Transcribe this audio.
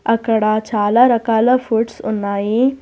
అక్కడ చాలా రకాల ఫుడ్స్ ఉన్నాయి.